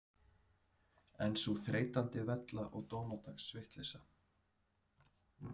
En sú þreytandi vella og dómadags vitleysa.